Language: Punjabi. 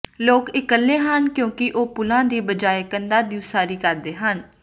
ਲੋਕ ਇਕੱਲੇ ਹਨ ਕਿਉਂਕਿ ਉਹ ਪੁਲਾਂ ਦੀ ਬਜਾਏ ਕੰਧਾਂ ਦੀ ਉਸਾਰੀ ਕਰਦੇ ਹਨ